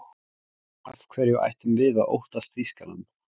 Af hverju ættum við að óttast Þýskaland?